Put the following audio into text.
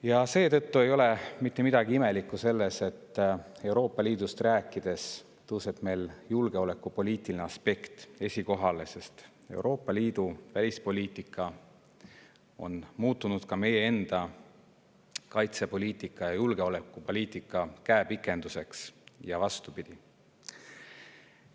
Ja seetõttu ei ole mitte midagi imelikku selles, et Euroopa Liidust rääkides tõuseb meil julgeolekupoliitiline aspekt esikohale, sest Euroopa Liidu välispoliitika on muutunud meie enda kaitsepoliitika ja julgeolekupoliitika käepikenduseks ja vastupidi.